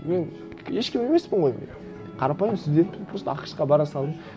мен ешкім емеспін ғой қарапайым студентпін просто ақш қа бара салдым